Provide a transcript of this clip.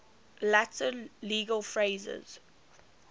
latin legal phrases